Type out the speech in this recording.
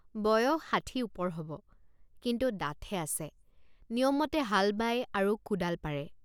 বয়স ষাঠি ওপৰ হ'ব কিন্তু ডাঠে আছে নিয়মমতে হাল বায় আৰু কোদাল পাৰে।